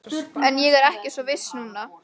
En ég er ekki svo viss núna